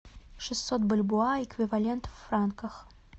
шестьсот бальбоа эквивалент в франках